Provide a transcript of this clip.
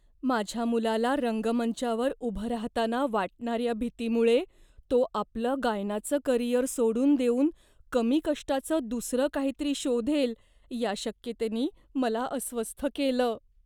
माझ्या मुलाला रंगमंचावर उभं राहताना वाटणाऱ्या भीतीमुळे, तो आपलं गायनाचं करिअर सोडून देऊन कमी कष्टाचं दुसरं काहीतरी शोधेल या शक्यतेनी मला अस्वस्थ केलं.